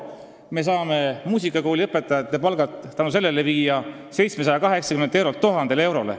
Me saame muusikakooli õpetajate palga tänu sellele tõsta 780 eurolt 1000 eurole.